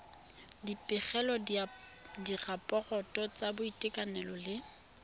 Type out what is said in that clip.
dipegelo diraporoto tsa boitekanelo le